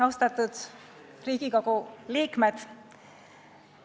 Austatud Riigikogu liikmed!